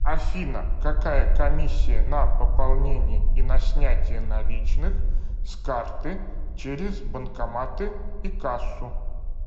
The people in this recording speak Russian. афина какая комиссия на пополнение и на снятие наличных с карты через банкоматы и кассу